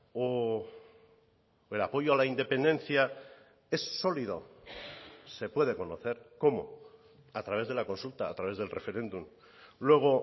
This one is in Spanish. o el apoyo a la independencia es sólido se puede conocer cómo a través de la consulta a través del referéndum luego